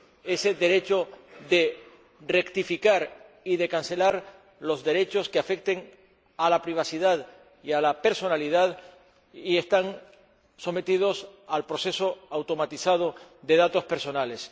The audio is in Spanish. ese derecho de rectificar y cancelar los datos que afecten a la privacidad y a la personalidad y están sometidos al proceso automatizado de datos personales.